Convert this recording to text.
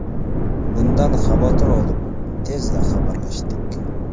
Bundan xavotir olib, tezda xabarlashdik.